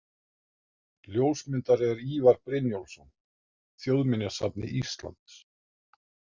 Ljósmyndari er Ívar Brynjólfsson, Þjóðminjasafni Íslands.